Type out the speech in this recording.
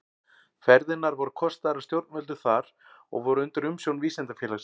Ferðirnar voru kostaðar af stjórnvöldum þar og voru undir umsjón Vísindafélagsins.